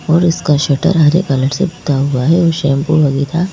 और इसका शटर हरे कलर से पुता हुआ है और शैंपू वगैरह--